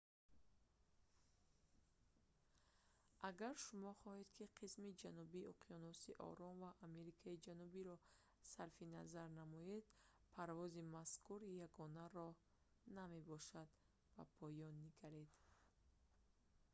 агар шумо хоҳед ки қисми ҷанубии уёнуси ором ва амрикои ҷанубиро сарфи назар намоед парвози мазкур ягона роҳ намебошад. ба поён нигаред